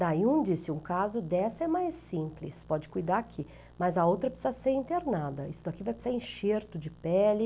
Daí um disse, um caso dessa é mais simples, pode cuidar aqui, mas a outra precisa ser internada, isso daqui vai precisar enxerto de pele.